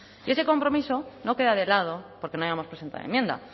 y ese compromiso no queda de lado porque no hayamos presentado enmienda